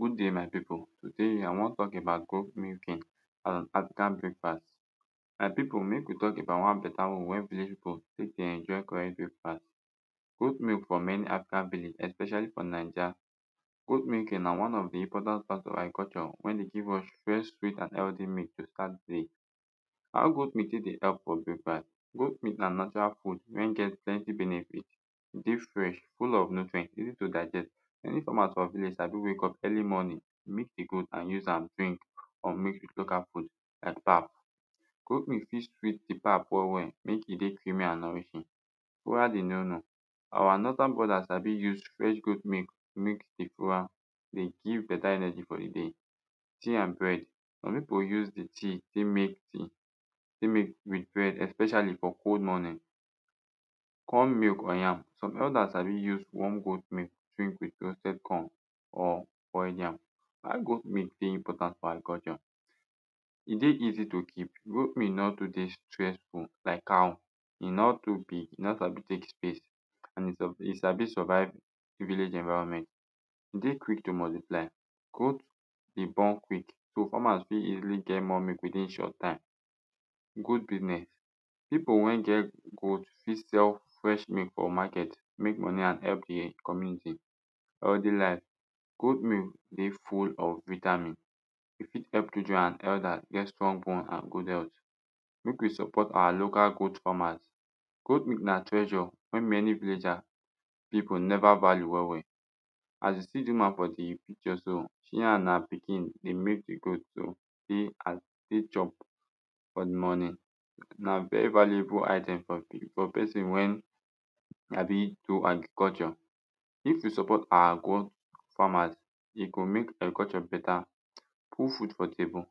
Good day, my people, today, i wan talk about goat milking and african breakfast. My people, mek we talk about one beta way village people take dey enjoy correct breakfast. Goat milk for many african village especially for naija goat milking na one of the important part of agriculture wey dey give us fresh sweet and healthy milk to start de day. How goat milk take dey help for breakfast, goat milk na natural food wey get plenty benefit de fresh full of nutrinet easy to digest many farmers for village sabi wake up early morning milk the goat and use am drink or mix with local food like pap. goat meat fit sweet the pap well well make e dey creamy and nourishing fura de nunu our northern brothers sabi use fresh goat milk mix with fura de give beta energy for de day. Tea and bread, some people use de tin take make tea take mix with bread expecially for cold morning. Corn milk or yam some elders sabi use warm goat milk wit roasted corn or boiled yam. Why goat milk dey important for agriculture, e dey easy to keep, goat milk no too dey stressful like cow, e no too big e no sabi take space and e e sabi survive village environment e dey quick to multiply goat dey born quick so farmers fit easily get more quick within short time. Good business people wey get goat fit sell fesh meat for market to make money and help community. Healthy life, goat milk dey full of vitamin e fit help children and elders get strong bone and good health make we support our local goat farmers goat milk na treasure wey many villager people neva value well well as you see de woman for the picture so, she and her pikin dey milk de goat so dey chop for de morning na very valuable item for person wey sabi do agriculture. If we support our goat farmers e go make agriculture beta put food for table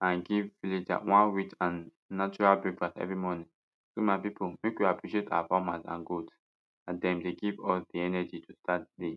and give villager weight and natural breakfast every morning so my people make we appreciate our farmers and goat as dem dey give us the energy to start day